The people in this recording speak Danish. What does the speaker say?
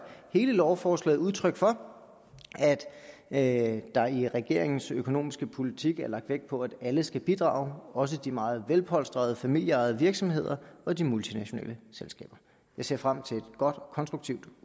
hele lovforslaget udtryk for at der i regeringens økonomiske politik er lagt vægt på at alle skal bidrage også de meget velpolstrede familieejede virksomheder og de multinationale selskaber jeg ser frem til et godt konstruktivt